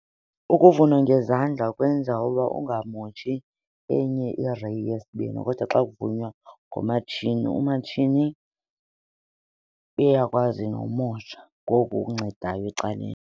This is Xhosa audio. Ukuvuna ngezandla kwenza uba ungamotshi enye ireyi yesibini kodwa xa kuvunwa ngomatshini, umatshini uyakwazi nomosha ngoku uncedayo ecaleni.